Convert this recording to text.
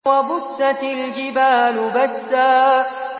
وَبُسَّتِ الْجِبَالُ بَسًّا